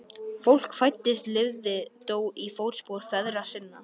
Fólk fæddist lifði dó í fótspor feðra sinna.